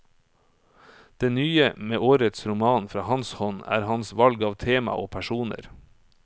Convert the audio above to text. Det nye med årets roman fra hans hånd er hans valg av tema og personer.